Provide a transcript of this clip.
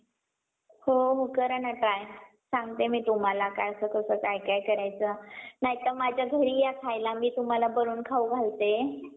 पेरणी करू तर, बी वरती येणार कसं? पाऊसचं नाही मिळणार तर. कारण की, उन्हाळ्यात आपले शेतातले जे विहीर आहे, तलाव आहे. ते अशा प्रकारे सुकून जातात तिथे तर पाणीचं नसत. तर आपण आपल्या पिकांना पाणी कुठून,